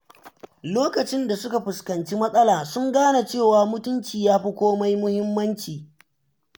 Lokacin da suka fuskanci matsala, sun gane cewa mutunci yafi komai muhimmanci.